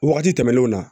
Wagati tɛmɛnenw na